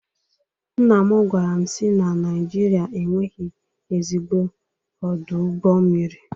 Nnam gwaram si na Naijiria enweghị ezigbo ọdụ ụgbọ mmiri.